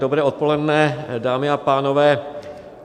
Dobré odpoledne, dámy a pánové.